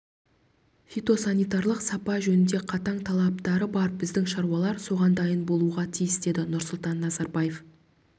фитосанитарлық сапа жөнінде қатаң талаптары бар біздің шаруалар соған дайын болуға тиіс деді нұрсұлтан назарбаев